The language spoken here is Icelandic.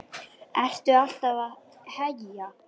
Þú ert alltaf að heyja,